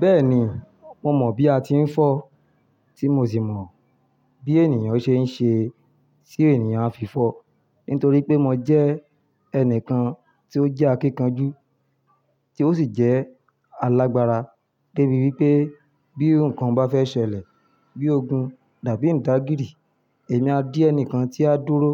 Bẹ́ẹ̀ni, mo mọ̀ bí a ti ń fọ́ tí mo sì mọ̀ bí ènìyàn ṣe ń ṣe sí ènìyàn a fi fọ́ nítorí pé mo jẹ́ ẹnìkan tí ó jẹ́ akíkanjú, tí ó sì jẹ́ alágbára débi wípé bí ǹkan bá fẹ́ ṣẹlẹ̀ bí ogun dàbí ìdágìrì, èmi a dí ẹnìkan tí á dúró